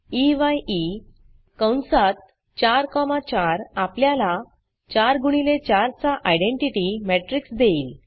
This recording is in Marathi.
ई य ई कंसात 4 कॉमा 4 आपल्याला 4 गुणिले 4 चा आयडेंटिटी matrixमेट्रिक्स देईल